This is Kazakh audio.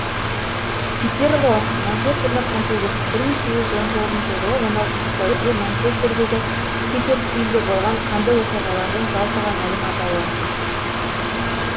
питерлоо манчестерлік қантөгіс бір мың сегіз жүз он тоғызыншы жылы он алтыншы сәуірде манчестердегі питерсфилде болған қанды оқиғалардың жалпыға мәлім атауы